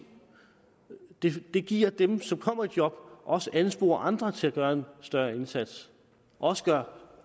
det det giver dem som kommer i job også ansporer andre til at gøre en større indsats og